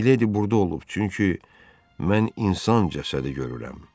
Miledi burda olub, çünki mən insan cəsədi görürəm.